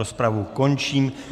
Rozpravu končím.